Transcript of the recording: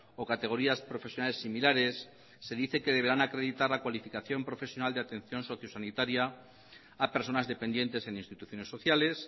o categorías profesionales similares se dice que deberán acreditar la cualificación profesional de atención sociosanitaria a personas dependientes en instituciones sociales